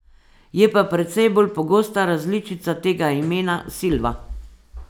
Je pa precej bolj pogosta različica tega imena, Silva.